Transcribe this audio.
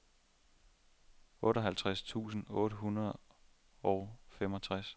otteoghalvtreds tusind otte hundrede og femogtres